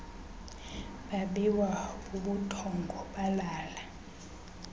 babiwa bubuthongo balala